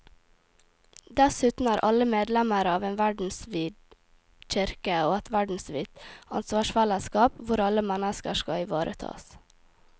Dessuten er alle medlemmer av en verdensvid kirke og et verdensvidt ansvarsfellesskap hvor alle mennesker skal ivaretas.